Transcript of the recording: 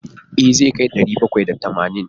E, zai kai ɗari bakwai da tamanin.